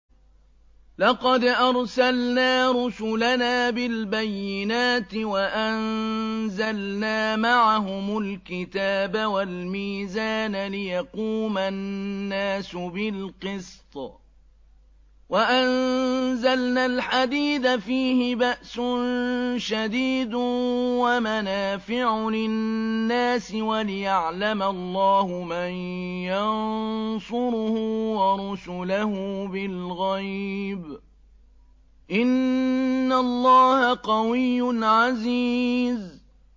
لَقَدْ أَرْسَلْنَا رُسُلَنَا بِالْبَيِّنَاتِ وَأَنزَلْنَا مَعَهُمُ الْكِتَابَ وَالْمِيزَانَ لِيَقُومَ النَّاسُ بِالْقِسْطِ ۖ وَأَنزَلْنَا الْحَدِيدَ فِيهِ بَأْسٌ شَدِيدٌ وَمَنَافِعُ لِلنَّاسِ وَلِيَعْلَمَ اللَّهُ مَن يَنصُرُهُ وَرُسُلَهُ بِالْغَيْبِ ۚ إِنَّ اللَّهَ قَوِيٌّ عَزِيزٌ